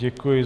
Děkuji.